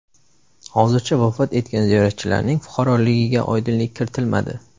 Hozircha vafot etgan ziyoratchilarning fuqaroligiga oydinlik kiritilmadi.